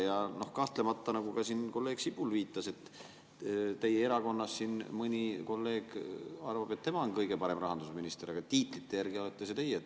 Ja kahtlemata, nagu siin kolleeg Sibul viitas, et teie erakonnast mõni kolleeg arvab, et tema on kõige parem rahandusminister, aga tiitlite järgi olete see teie.